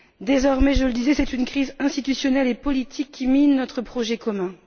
Désormais, je le disais, c'est une crise institutionnelle et politique qui mine notre projet commun.